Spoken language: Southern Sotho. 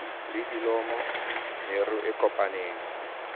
le dilomo meru e kopaneng